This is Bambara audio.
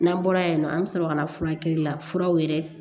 N'an bɔra yan nɔ an bɛ sɔrɔ ka na furakɛli la furaw yɛrɛ